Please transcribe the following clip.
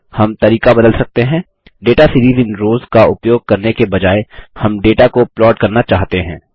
हम तरीका बदल सकते हैं दाता सीरीज इन रॉस का उपयोग करने के बजाय हम डेटा को प्लॉट करना चाहते हैं